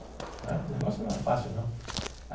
Né o negócio não é fácil, não.